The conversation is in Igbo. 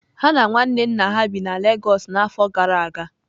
Ha na nwanne nna ha bi na Lagos n'afọ gara aga